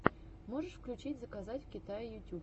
можешь включить заказать в китае ютюб